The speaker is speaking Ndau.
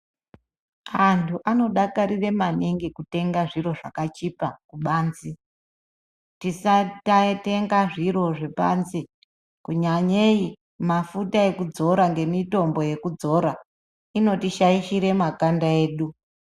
Antu anodakarira maningi kutenga zviro zvakachipa kubanze, tisatatenga zviro zvepanze, kunyanyeyi mafuta ekudzora ngemitombo yekudzora inotishayishira makanda edu.